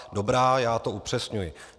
Dobrá, já to upřesňuji.